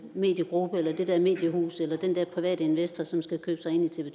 mediegruppe eller det der mediehus eller den der private investor som skal købe sig ind i tv